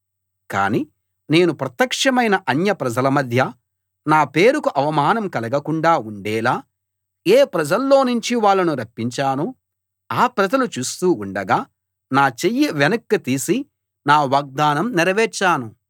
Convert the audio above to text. కాని నేను ప్రత్యక్షమైన అన్యప్రజల మధ్య నా పేరుకు అవమానం కలగకుండా ఉండేలా ఏ ప్రజల్లోనుంచి వాళ్ళను రప్పించానో ఆ ప్రజలు చూస్తూ ఉండగా నా చెయ్యి వెనక్కు తీసి నా వాగ్దానం నెరవేర్చాను